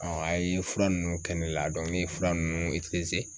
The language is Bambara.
a ye fura ninnu kɛ ne la ne ye fura nunnu